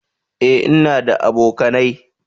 eh in na da abokanai